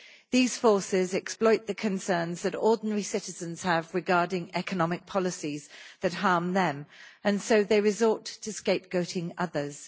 These forces exploit the concerns that ordinary citizens have regarding economic policies that harm them, and so they resort to scapegoating others.